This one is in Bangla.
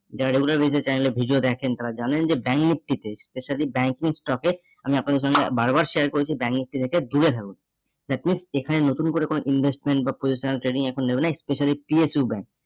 যারা regular base এ channel এ video দেখেন তারা জানেন যে ব্যাঙ্গমূর্তিতে specially banking stock এ আমি আপনাদের সঙ্গে বারবার share করেছি ব্যাঙ্গমূর্তি থেকে দূরে থাকুন at least এ খানে নতুন করে কোনো investment বা positional training এখন নেবে না, specially PHU bank